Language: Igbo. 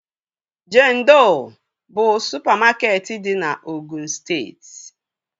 Jendọ bụ supamakeetị dị na Ogụn steeti